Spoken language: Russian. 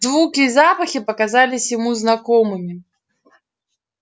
звуки и запахи показались ему знакомыми